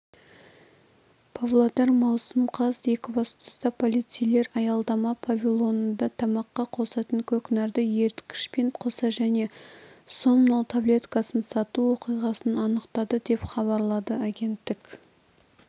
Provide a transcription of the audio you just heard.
павлодар маусым қаз екібастұзда полицейлер аялдама павильонында тамаққа қосатын көкнәрді еріткішпен қоса және сомнол таблеткасын сату оқиғасын анықтады деп хабарлады агенттік